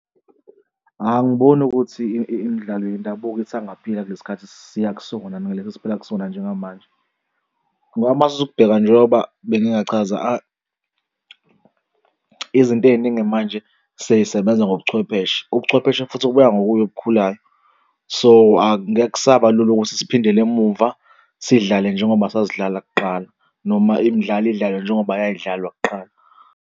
Angiboni ukuthi imidlalo yendabuko isangaphila kulesi khathi siya kusona nalesi esiphila kusona njengamanje ngoba uma uthatha ukubheka njengoba bengike ngachaza izinto ey'ningi manje sey'sebenza ngobuchwepheshe, ubuchwepheshe, futhi okuya ngokuya okukhulayo. So angeke kusaba lula ukuthi siphindele emumva sidlale njengoba sasidlala kuqala, noma imidlalo idlalwe njengoba yayidalwa kuqala.